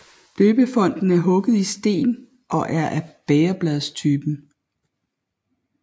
Døbefonten er hugget i sten og er af bægerbladstypen